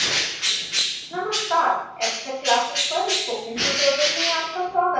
नमस्कार abstract classes पर spoken tutorial में आपको स्वागत है